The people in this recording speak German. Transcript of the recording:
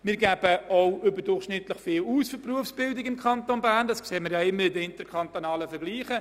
Wir geben überdurchschnittlich viel für die Berufsbildung aus, wie auch die interkantonalen Vergleiche zeigen.